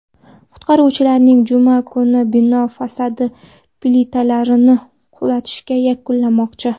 Qutqaruvchilar juma kuni bino fasadi plitalarini qulatishni yakunlamoqchi.